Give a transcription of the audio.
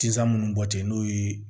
Tisan munnu bɔ ten n'o ye